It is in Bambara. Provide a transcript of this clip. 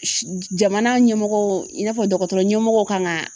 Si Jamana ɲɛmɔgɔw i n'a fɔ dɔgɔtɔrɔ ɲɛmɔgɔw kan ka